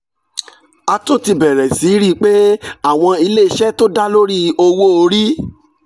a tún ti bẹ̀rẹ̀ sí rí i pé àwọn ilé iṣẹ́ tó dá lórí owó orí